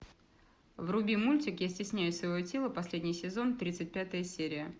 вруби мультик я стесняюсь своего тела последний сезон тридцать пятая серия